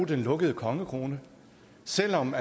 den lukkede kongekrone selv om